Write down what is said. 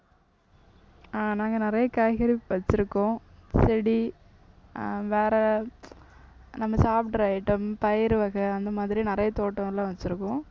ஆஹ் நாங்க நிறைய காய்கறி வச்சிருக்கோம். செடி ஆஹ் வேற நம்ம சாப்பிடுற item பயிர் வகை அந்த மாதிரி நிறைய தோட்டம்லாம் வச்சிருக்கோம்